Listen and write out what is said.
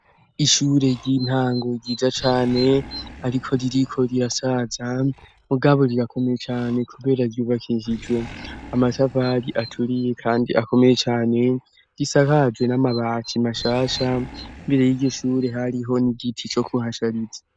Ishure ry'intango ryija cane ariko ririko rirasaza mu gaburirakomeye cane kubera yuvakisijwe amasavali aturiye kandi akomeye cane risakajwe n'amabati mashasha imbere y'igishure hariho n'igiti co kuhashariza.